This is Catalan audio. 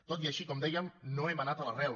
tot i així com dèiem no hem anat a l’arrel